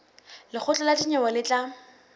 lekgotla la dinyewe le tla